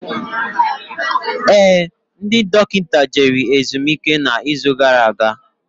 Éè, ndị dọkịta jere ezumike na izu gara aga